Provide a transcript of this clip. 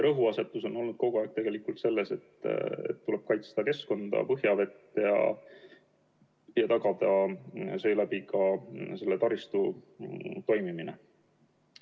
Rõhuasetus on olnud kogu aeg sellel, et tuleb kaitsta keskkonda ja põhjavett ning tagada seeläbi ka selle taristu toimimine.